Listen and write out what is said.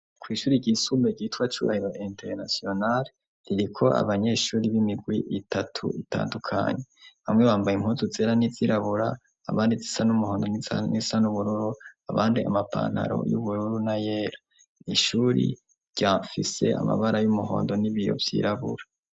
kw'ishuri ry'isumbuye ryitwa cubahiro internationali ririko abanyeshure b'imigwi itatu itandukanye hamwe bambaye impunzu zera n'izirabura abandi zisa n'umuhondo ni zisa n'ubururu abandi amapantaro y'ubururu na yera n' ishure rya mfise amabara y'umuhondo n'ibiyo vyirabura